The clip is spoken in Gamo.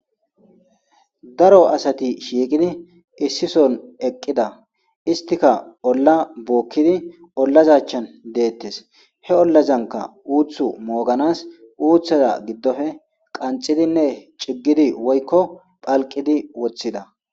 daro asati shiiqidi issison eqqida istika olla bookkidi ollazachan deettes he ollazanka uuthu mooganas uuththaza giddofe qanxidinne ciggidi woykko phalqidi woththida